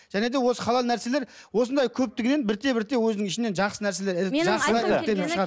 және де осы халал нәрселер осындай көптігінен бірте бірте өзінің ішінен жақсы нәрселер